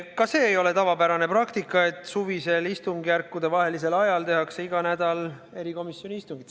Ka see ei ole tavapärane praktika, et suvisel istungjärkudevahelisel ajal tehakse igal nädalal erikomisjoni istung.